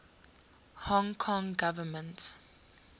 hong kong government